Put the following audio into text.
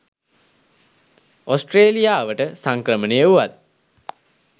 ඕස්ට්‍රේලියාවට සංක්‍රමණය වූවත්